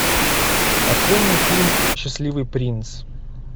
открой мне фильм счастливый принц